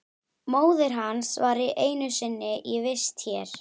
Móðir hans var einu sinni í vist hér.